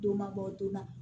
Don mabɔ don na